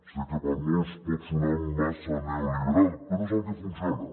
sé que per a molts pot sonar massa neoliberal però és el que funciona